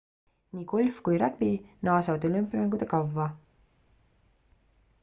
nii golf kui ragbi naasevad olümpiamängude kavva